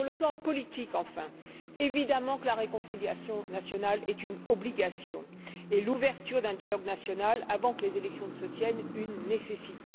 Sur le plan politique, enfin, il est évident que la réconciliation nationale est une obligation et l'ouverture d'un dialogue national, avant que les élections ne se tiennent, une nécessité.